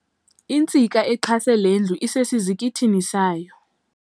Intsika exhase lendlu isesizikithini sayo.